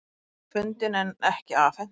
Tíkin fundin en ekki afhent